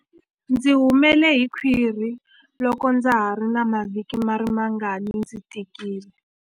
Ndzi humele hi khwiri loko ndza ha ri na mavhiki mangarimangani ndzi tikile.